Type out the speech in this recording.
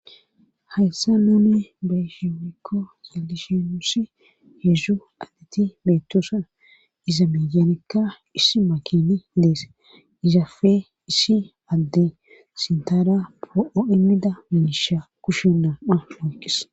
Hayssa nuuni baysheonekko xallishenusi heedzu addeti meetoosan iza meyanekka issi makini lees izafe iissi adde sintara po7o immida miisha kushi nam'a oyqis.